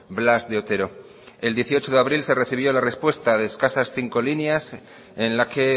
blas de otero el dieciocho de abril se recibió la respuesta de escasas cinco líneas en la que